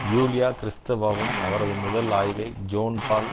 Yulia கிறிஸ்த்தெவாவும் அவரது முதல் ஆய்வை ஜோன் போல்